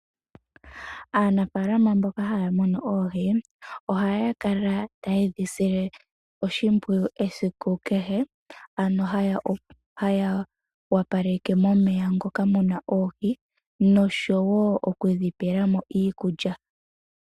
Aanafalama mboka haya munu oohi oha ya kala taye dhi sile oshimpwiyu esiku kehe, ano haya opaleke momeya ngoka mu na oohi noshowo okudhipelamo iikulya.